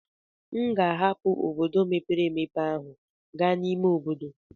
M ga-ahapụ obodo mepere emepe ahụ gaa n'ime obodo.